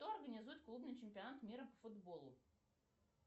кто организует клубный чемпионат мира по футболу